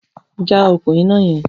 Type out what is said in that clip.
Já okùn iná yẹn!